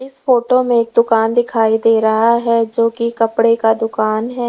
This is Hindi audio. इस फोटो में एक दुकान दिखाई दे रहा है जो कि कपड़े का दुकान है।